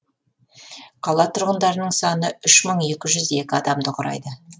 қала тұрғындарының саны үш мың екі жүз екі адамды құрайды